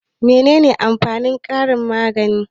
Mene amfanin karin-magana?